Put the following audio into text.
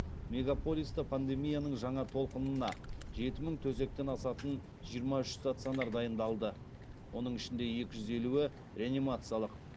мегаполиста пандемияның жаңа толқынына жеті мың төсектен асатын жиырма үш стационар дайындалды оның ішінде екі жүз елуі реанимациялық